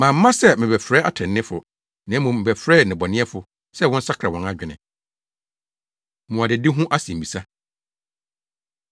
Mamma sɛ merebɛfrɛ atreneefo na mmom mebɛfrɛɛ nnebɔneyɛfo sɛ wɔnsakra wɔn adwene.” Mmuadadi Ho Asɛmmisa